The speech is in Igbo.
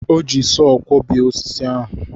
O ji sọọ kwọbie osisi ahụ.